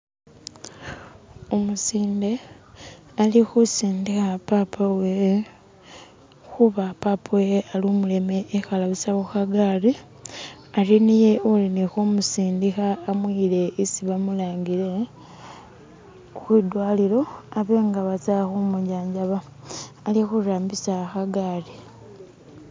Umusinde alikhusindikha papa uwewe khuba papa uwewe ali umuleme ekhala busa khukagari hari niye ulikhumusindikha amuyile hisi bamulangile kwidwalilo habe nga batsa khumujajaba alikhurambisa khagari